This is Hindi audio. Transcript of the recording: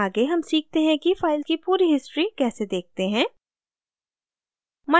आगे हम सीखते हैं कि file की पूरी history कैसे देखते हैं